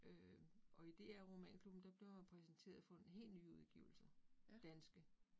Øh og i DR Romanklubben, der bliver man præsenteret for helt nye udgivelser. Danske